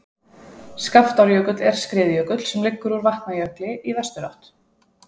skaftárjökull er skriðjökull sem liggur úr vatnajökli í vesturátt